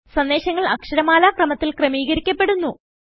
സന്ദേശങ്ങൾ അക്ഷരമാല ക്രമത്തിൽ ക്രമീകരിക്കപ്പെടുന്നു